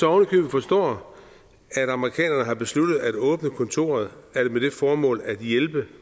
ovenikøbet forstå at amerikanerne har besluttet at åbne kontoret med det formål at hjælpe